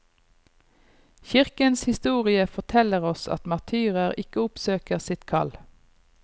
Kirkens historie forteller oss at martyrer ikke oppsøker sitt kall.